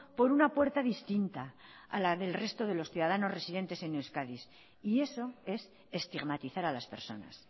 por una puerta distinta a la del resto de los ciudadanos residentes en euskadi y eso es estigmatizar a las personas